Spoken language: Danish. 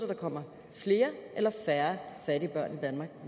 der kommer flere eller færre fattige børn i danmark